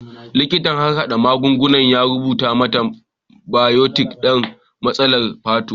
Likitan harhada magunguna ya rubuta mata bayotin don matsalar fata.